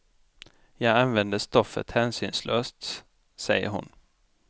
Jag använder stoffet hänsynslöst, säger hon.